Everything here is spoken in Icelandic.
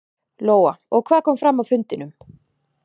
Lóa: Og hvað kom fram á fundinum?